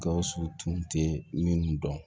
Gawusu tun tɛ minnu dɔn